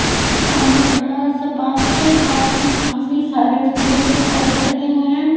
सामने एक बड़ा सा पार्क है पार्क में काफी सारे फूलों के पौधे लगे हुए हैं।